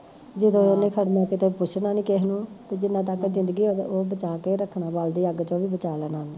ਜਦੋਂ ਉਹਨੇ ਖੜਨਾ ਫੇਰ ਥੋਨੂੰ ਪੁੱਛਣਾ ਨੀ ਕਿਸੇ ਨੂੰ, ਤੇ ਜਿੰਨਾ ਤੱਕ ਜ਼ਿੰਦਗੀ ਆ ਓਸ ਬੱਚਾ ਕੇ ਈ ਰੱਖਣਾ ਬਲਦੀ ਅਗ ਚੋ ਬਚਾ ਲੈਣਾ ਉਹਨੇ